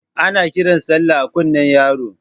Ana kiran Sallah a kunne yaro